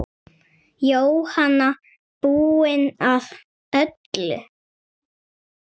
Jóhanna: Búinn að öllu?